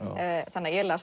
þannig að ég las